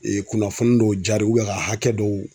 kunnafoni dɔw jara ka hakɛ dɔw.